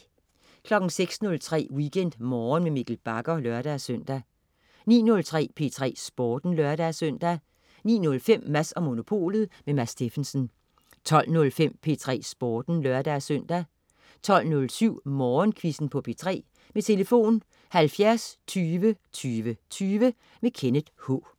06.03 WeekendMorgen med Mikkel Bagger (lør-søn) 09.03 P3 Sporten (lør-søn) 09.05 Mads & Monopolet. Mads Steffensen 12.05 P3 Sporten (lør-søn) 12.07 Musikquizzen på P3. Tlf.: 70 20 20 20. Kenneth K